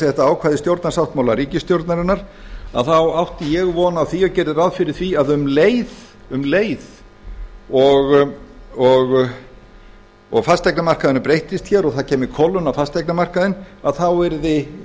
þetta ákvæði stjórnarsáttmála ríkisstjórnarinnar þá átti ég von á því og gerði ráð fyrir því að um leið og fasteignamarkaðurinn breyttist hér og það kæmi kólnun á fasteignamarkaðinn þá yrði